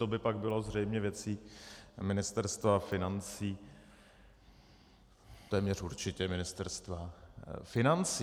To by pak bylo zřejmě věcí Ministerstva financí, téměř určitě Ministerstva financí.